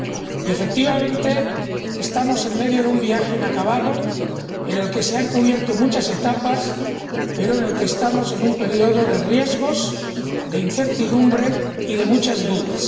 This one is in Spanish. Y, efectivamente, estamos en medio de un viaje inacabado en el que se han cubierto muchas etapas, pero estamos en un periodo de riesgos, de incertidumbre y de muchas dudas.